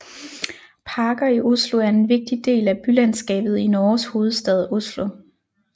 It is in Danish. Parker i Oslo er en vigtig del af bylandskabet i Norges hovedstad Oslo